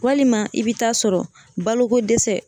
Walima i bɛ taa sɔrɔ balokodɛsɛ